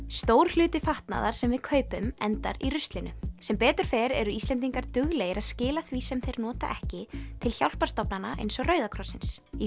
stór hluti fatnaðar sem við kaupum endar í ruslinu sem betur fer eru Íslendingar duglegir að skila því sem þeir nota ekki til hjálparstofnana eins og Rauða krossins í